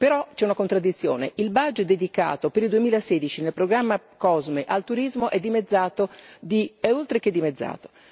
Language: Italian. Però c'è una contraddizione il budget dedicato per il 2016 nel programma COSME al turismo è oltre che dimezzato.